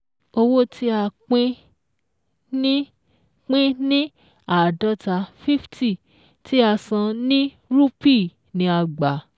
Owó tí a pín ní pín ní àádọ́ta fifty tí a san ní rupee ni a gbà